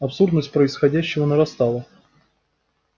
абсурдность происходящего нарастала